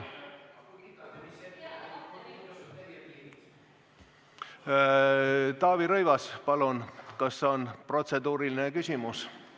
Taavi Rõivas, palun, kas on protseduuriline küsimus?